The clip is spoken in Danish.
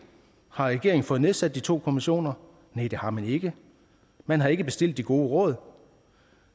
har regeringen fået nedsat de to kommissioner næ det har man ikke man har ikke bestilt de gode råd